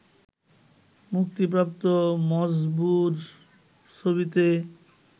মুক্তিপ্রাপ্ত মজবুর ছবিতে